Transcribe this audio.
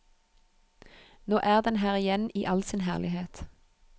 Nå er den her igjen i all sin herlighet.